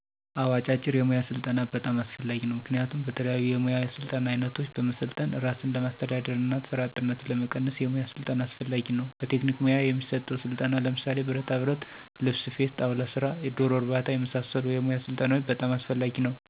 አወ አጫጭር የሙያ ስልጠና በጣም አስፈላጊ ነዉ። ምክንያቱም በተለያዩ የሙያ ስልጠና አይነቶች በመሰልጠን እራስን ለማስተዳደር እና ስራ አጥነትን ለመቀነስ የሙያ ስልጠና አስፈላጊ ነው። በቴክኒክ ሙያ የሚሰጠው ስልጠና ለምሳሌ ብረታብረት፣ ልብስ ስፌት፣ ጣውላ ሰራ፣ ደሮ እርባታ የመሳሰሉ የሙያ ስልጠናዎች በጣም አስፈላጊ ነው።